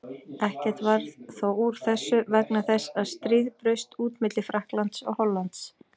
Ekkert varð þó úr þessu vegna þess að stríð braust út milli Frakklands og Hollands.